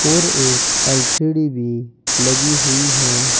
और एक एल_सी_डी भी लगी हुई है।